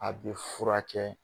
A bɛ furakɛ